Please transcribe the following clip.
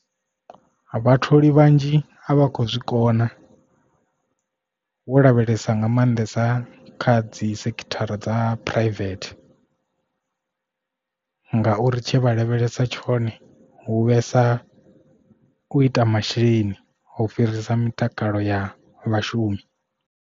Vhatholi vhanzhi a vha khou zwikona wo lavhelesa nga maanḓesa kha dzi sekithara dza private ngauri tshe vha lavhelesa tshone hu vhesa u ita masheleni u fhirisa mitakalo ya vhashumi.